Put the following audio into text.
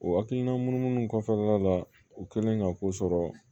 O hakilina munu munu kɔfɛla la u kɛlen ka ko sɔrɔ